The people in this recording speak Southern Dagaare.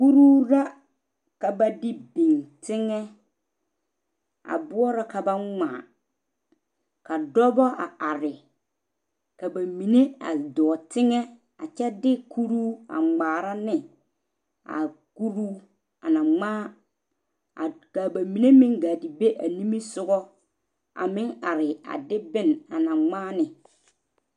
kuribu la ka ba de bing tengɛ a boɔrɔ ka ba ngmaa ka dɔbɔ a are ka ba mine a dɔɔ tengɛ a kyɛ de kuribu a ngmaara ne a kuribu ana ngmaa a ka ba mine meng gaa te be a ninge sɔgɔ a meng are a de bon ana ngmaa ne